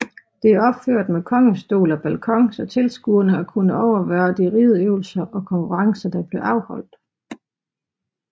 Det er opført med kongestol og balkon så tilskuerede har kunnet overvære de rideøvelser og konkurrencer der blev afholdt